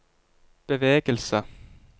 bevegelse